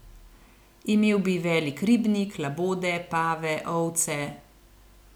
Imel bi velik ribnik, labode, pave, ovce ...